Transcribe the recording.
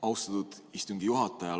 Austatud istungi juhataja!